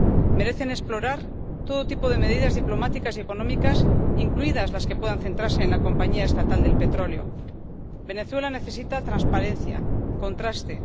Merecen explorar todo tipo de medidas diplomáticas y económicas, incluidas las que puedan centrarse en la compañía estatal del petróleo. Venezuela necesita transparencia, contraste.